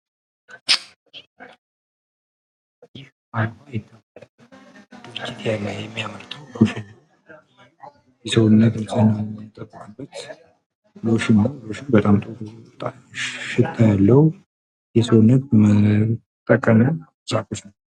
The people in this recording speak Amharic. ይህ አሎህ የተባለ ድርጅት የሚያመርተው ሎሽን ነው። ሎሽኑ የሚጣፍት ሽታ ያለው፣ የሰውነት መጠቀሚያ ነው።